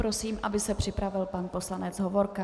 Prosím, aby se připravil pan poslanec Hovorka.